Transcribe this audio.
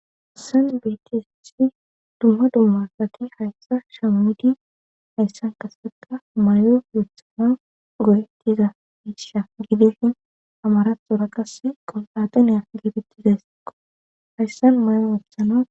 hassan beetishi dumma dumma saki hayssa shamidi hayssan kaseta mayo yoththama goyettiza hiisha gidifin amaraxora qas qompataneya gibittizayssiqo hayssan mayon wothana